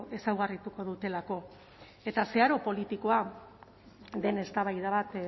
ezaugarrituko dutelako eta zeharo politikoa den eztabaida bat